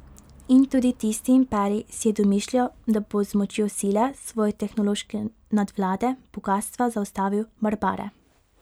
In tudi tisti imperij si je domišljal, da bo z močjo sile, svoje tehnološke nadvlade, bogastva, zaustavil barbare.